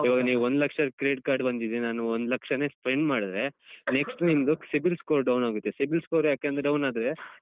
ಈವಾಗ ನೀವು ಒಂದ್ ಲಕ್ಷದ್ Credit Card ಬಂದಿದೆ ನಾನು ಒಂದ್ ಲಕ್ಷನೆ spend ಮಾಡಿದ್ರೆ next ನಿಮ್ದು cibil Score down ಆಗುತ್ತೆ cibil score ಯಾಕಂದ್ರೆ down ಆದ್ರೆ.